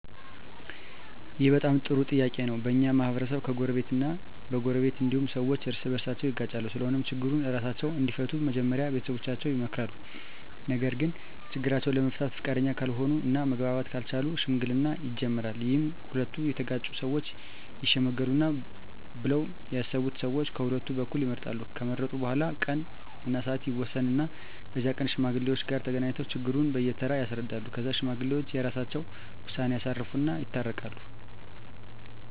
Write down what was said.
ይህ በጣም ጥሩ ጥያቄ ነው በኛ ማህበረሰብ በጎረቤት እ በጎረቤት እንዲሁም ሠዎች እርስ በርሳቸው ይጋጫሉ ስለሆነም ችግሩን እራሳቸው እንዲፈቱ መጀመሪያ ቤተሠቦቻቸው ይመከራሉ ነገርግ ችግራቸውን ለመፍታት ፈቃደኛ ካልሆነ እና መግባባት ካልቻሉ ሽምግልና ይጀመራል ይህም ሁለቱ የተጋጩ ሠወች ይሽመግሉናል ብለው ያሠቡትን ሠዎች ቀሁለቱ በኩል ይመርጣሉ ከመረጡ በኋላ ቀን እና ስዓት ይወስኑ እና በዛ ቀን ከሽማግሌዎች ጋር ተገናኝተው ችግሩን በየ ተራ ያስረዳሉ ከዛ ሽማግሌዎች የራሰቸውን ውሳኔ ያሳርፉ እና ይታረቃሉ